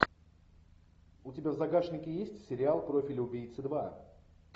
у тебя в загашнике есть сериал профиль убийцы два